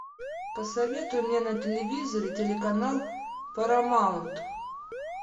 посоветуй мне на телевизоре телеканал парамаунт